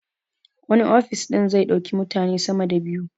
Wani ofis ɗin zai ɗauki mutane sama da biyu